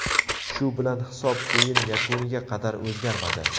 Shu bilan hisob o‘yin yakuniga qadar o‘zgarmadi.